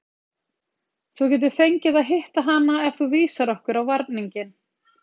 Þú getur fengið að hitta hana ef þú vísar okkur á varninginn.